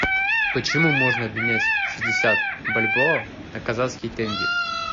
почему можно обменять шестьдесят бальбоа на казахский тенге